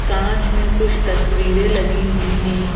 कांच में कुछ तस्वीरें लगी हुई हैं।